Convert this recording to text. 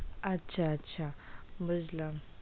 আচ্ছা আচ্ছা বুঝলাম,